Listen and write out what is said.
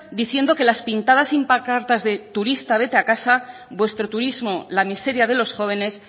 diciendo que las pintadas y pancartas de turista vete a casa vuestro turismo la miseria de los jóvenes